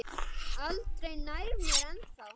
Aldrei nær mér en þá.